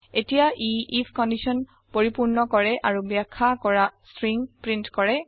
এতিয়া ই if condition পৰিপূৰ্ণ কৰে আৰু বাখ্যা কৰা স্ত্ৰীং প্ৰীন্ট কৰে